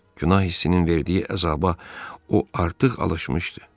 Günah hissinin verdiyi əzaba o artıq alışmışdı.